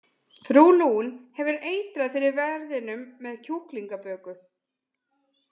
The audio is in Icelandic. Frú Lune hefur eitrað fyrir verðinum með kjúklingaböku.